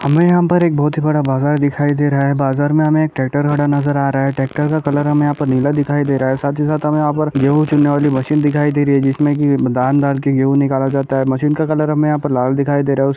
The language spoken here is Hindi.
हमें यहाँं पर एक बोहोत बड़ा बाजार दिखाई दे रहा है। बाजार में हमें ट्रैक्टर नजर अ रहा है। ट्रैक्टर का कलर हमें नीला दिखाई दे रहा है साथ ही साथ हमे यहाँं पर गेहूं चुनने वाली मशीन दिखाई दे रही है जिसमें कि धान डाल कर गेहूं निकाले जाते हैं। मशीन का कलर हमें यहाँं पर लाल दिखाई दे रहा है।